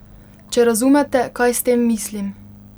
Če razumete, kaj s tem mislim.